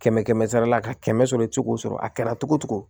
Kɛmɛ kɛmɛ sarala ka kɛmɛ sɔrɔ i ti se k'o sɔrɔ a kɛra cogo o cogo